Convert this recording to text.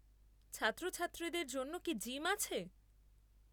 ছাত্রছাত্রীদের জন্য কি জিম আছে?